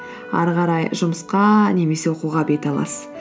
әрі қарай жұмысқа немесе оқуға бет аласыз